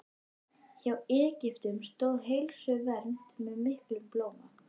Hjá Egyptum stóð heilsuvernd með miklum blóma.